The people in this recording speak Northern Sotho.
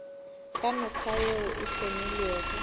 ka mekgwa yeo e hlomilwego